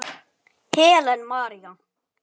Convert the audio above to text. Helen María.